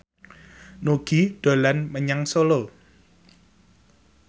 Nugie dolan menyang Solo